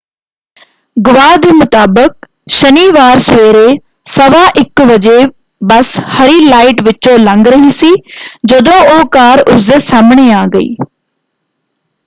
ਗਵਾਹ ਦੇ ਮੁਤਾਬਕ ਸ਼ਨੀਵਾਰ ਸਵੇਰੇ 1:15 ਵਜੇ ਬੱਸ ਹਰੀ ਲਾਈਟ ਵਿਚੋਂ ਲੰਘ ਰਹੀ ਸੀ ਜਦੋਂ ਉਹ ਕਾਰ ਉਸਦੇ ਸਾਹਮਣੇ ਆ ਗਈ।